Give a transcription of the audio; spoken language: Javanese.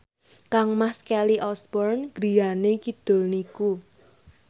kangmas Kelly Osbourne griyane kidul niku